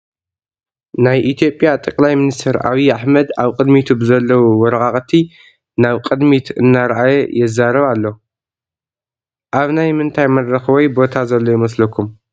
ናይ ኢ/ያ ጠ/ ሚ/ ኣብይ ኣሕመድ ኣብ ቅድሚቱ ብዘለው ወረቓቕቲ ናብ ቅድሚት እናራኣየ የዛረብ ኣሎ፡፡ ኣብ ናይ ምንታይ መድረኽ ወይ ቦታ ዘሎ ይመስለኩም?